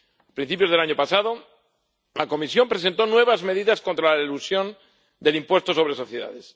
A principios del año pasado, la Comisión presentó nuevas medidas contra la elusión del impuesto sobre sociedades.